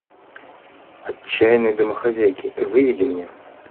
отчаянные домохозяйки выведи мне